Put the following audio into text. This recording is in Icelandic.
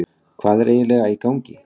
Hvað er eiginlega í gangi?